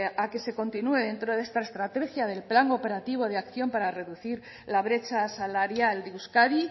a que se continúe dentro de esta estrategia del plan operativo de acción para reducir la brecha salarial de euskadi y